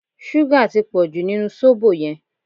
Súgà tí pọ̀jù nínú sóbò yẹn